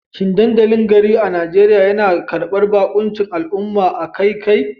Shin dandalin garin a Najeriya yana karbar baƙuncin al'umma akai-akai?